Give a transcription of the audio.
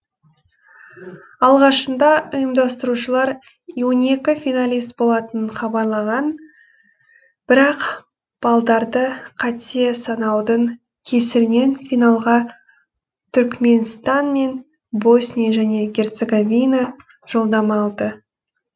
алғашында ұйымдастырушылар он екі финалист болатынын хабарлаған бірақ баллдарды қате санаудың кесірінен финалға түрікменстан мен босния және герцеговина жолдама алды